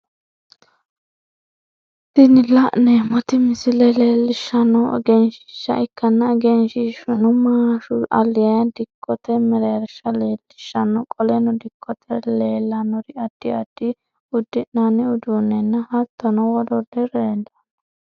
Tini la'neemoti misile leelishanohu egenshiisha ikkanna egenshishuno maashu alayi dikote mereersha leelishano qoleno dikote leelanori addi addi udi'nanni uduunenna hattono woluri leelano.